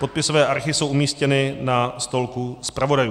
Podpisové archy jsou umístěny na stolku zpravodajů.